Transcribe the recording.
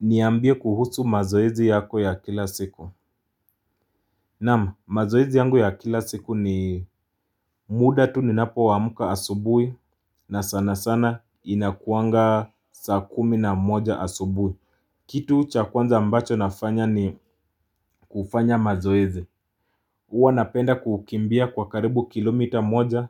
Niambie kuhusu mazoezi yako ya kila siku Naam, mazoezi yangu ya kila siku ni muda tu ni napo amka asubui na sana sana inakuanga saa kumi na moja asubui Kitu chakwanza ambacho nafanya ni kufanya mazoezi Uwa napenda kukimbia kwa karibu kilomita moja